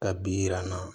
Ka bi yi yir'an na